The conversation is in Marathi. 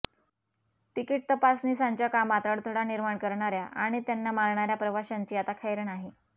तिकीट तपासणीसांच्या कामात अडथळा निर्माण करणार्या आणि त्यांना मारणार्या प्रवाशांची आता खैर नाही